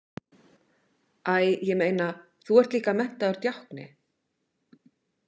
Æ, ég meina, þú ert líka menntaður djákni.